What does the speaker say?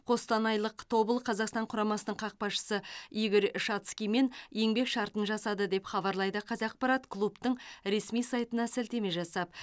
қостанайлық тобыл қазақстан құрамасының қақпашысы игорь шацкиймен еңбек шартын жасады деп хабарлайды қазақпарат клубтың ресми сайтына сілтеме жасап